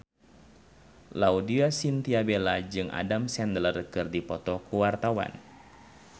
Laudya Chintya Bella jeung Adam Sandler keur dipoto ku wartawan